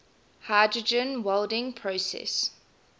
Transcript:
hydrogen welding process